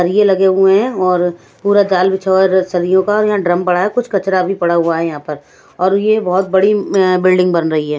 सरिए लगे हुए हैं और पूरा जाल बिछा हुआ सरियों का और यहां ड्रम पड़ा है कुछ कचरा भी पड़ा हुआ है यहां पर और यह बहुत म्म बड़ी बिल्डिंग बन रही है।